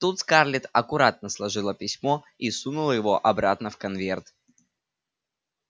тут скарлетт аккуратно сложила письмо и сунула его обратно в конверт